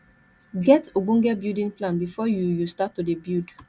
get ogbonge building plan before you you start to de build